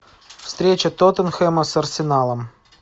встреча тоттенхэма с арсеналом